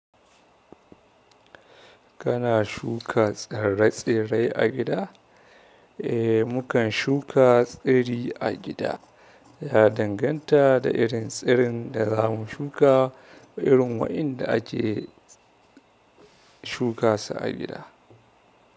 Kana shuka tsire-tsire a gida? Eh, mukan shuka tsiri a gida. Ya danganta da irin tsirin da za mu shuka da irin waɗanda ake shuka su a gida.